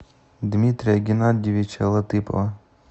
дмитрия геннадьевича латыпова